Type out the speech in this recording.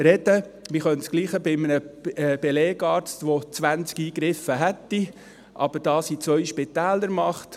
Wir könnten dasselbe bei einem Belegarzt sagen, der 20 Eingriffe vorweist, aber diese in zwei Spitälern macht.